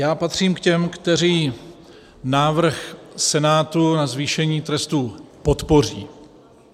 Já patřím k těm, kteří návrh Senátu na zvýšení trestu podpoří.